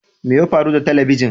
Me ya faru da talabijin?